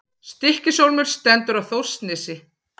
Stykkishólmur stendur á Þórsnesi.